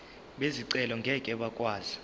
bezicelo ngeke bakwazi